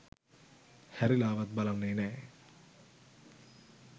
හැරිලාවත් බලන්නේ නෑ